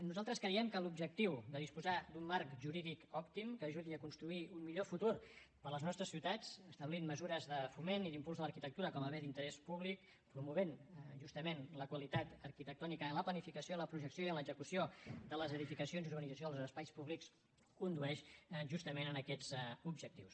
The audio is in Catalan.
nosaltres creiem que l’objectiu de disposar d’un marc jurídic òptim que ajudi a construir un millor futur per a les nostres ciutats establint mesures de foment i d’impuls a l’arquitectura com a bé d’interès públic promovent justament la qualitat arquitectònica en la planificació la projecció i en l’execució de les edificacions i urbanització en els espais públics condueix justament a aquests objectius